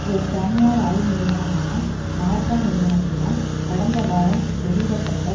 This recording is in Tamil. ஒரு தனியார் ஆய்வு நிறுவனமான மார்கா நிறுவனத்தினால் கடந்த வாரம் வெளியிட பட்ட